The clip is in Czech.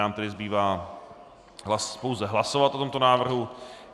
Nám tedy zbývá pouze hlasovat o tomto návrhu.